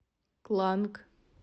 кланг